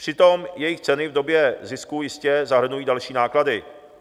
Přitom jejich ceny v době zisku jistě zahrnují další náklady.